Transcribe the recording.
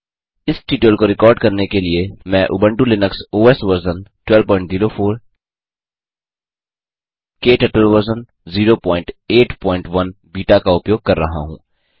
इस ट्यूटोरियल को रिकॉर्ड करने के लिए मैं Ubuntu Linux OS version 1204 KTurtle version 081 beta का उपयोग कर रहा हूँ